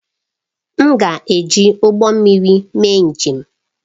M ga-eji ụgbọ mmiri mee njem